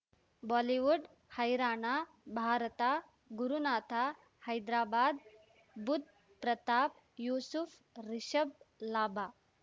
Bollywood ಹೈರಾಣ ಭಾರತ ಗುರುನಾಥ ಹೈದ್ರಾಬಾದ್ ಬುಧ್ ಪ್ರತಾಪ್ ಯೂಸುಫ್ ರಿಷಬ್ ಲಾಭ